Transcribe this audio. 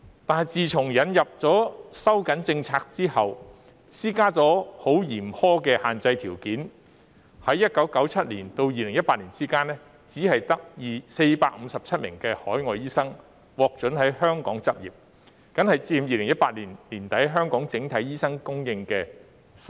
但自從政策收緊後，施加了十分嚴苛的限制條件，在1997年至2018年期間，只有457名海外醫生獲准在香港執業，僅佔2018年年底香港整體醫生供應的 3%。